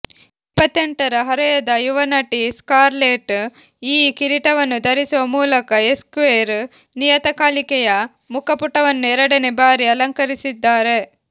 ಇಪ್ಪತ್ತೆಂಟರ ಹರೆಯದ ಯುವ ನಟಿ ಸ್ಕಾರ್ಲೆಟ್ ಈ ಕಿರೀಟವನ್ನು ಧರಿಸುವ ಮೂಲಕ ಎಸ್ಕ್ವೇರ್ ನಿಯತಕಾಲಿಕೆಯ ಮುಖಪುಟವನ್ನು ಎರಡನೇ ಬಾರಿ ಅಲಂಕರಿಸಿದ್ದಾರೆ